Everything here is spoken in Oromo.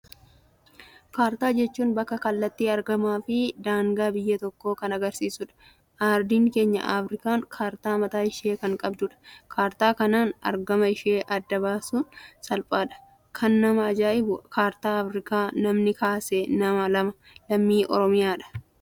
Kaartaa jechuun bakka, kallattii, argama fi daangaa biyya tokkoo kan agarsiisudha. Ardiin keenya Afrikaan kaartaa mataa ishee kan qabdudha kaartaa kanaan argama ishee adda baasun salphaadha. kan nama ajaa'ibu kaartaa Afrikaa namni kaase nama lammii Oromoodha.